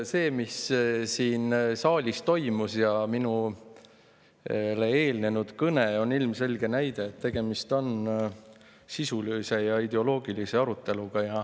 See, mis siin saalis toimus, ja ka eelnenud kõne on ilmselge näide sellest, et tegemist on sisulise ja ideoloogilise aruteluga.